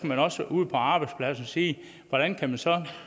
man også ude på arbejdspladsen sige hvordan kan man så